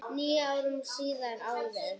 Níu árum síðar, árið